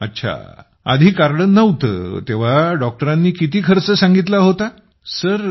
अच्छा डॉक्टरांनी आधी कार्ड नव्हतं तेव्हा किती खर्च सांगितला होता